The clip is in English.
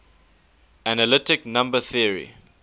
analytic number theory